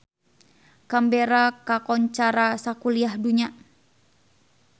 Canberra kakoncara sakuliah dunya